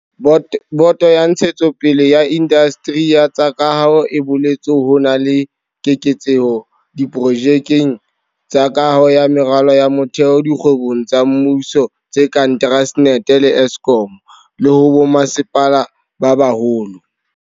Boto ya Ntshetsopele ya Indasteri ya tsa Kaho e boletse ha ho na le keketseho diprojekeng tsa kaho ya meralo ya motheo dikgwebong tsa mmuso tse kang Transnet le Eskom, le ho bommasepala ba baholo.